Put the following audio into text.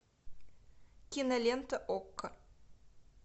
кинолента окко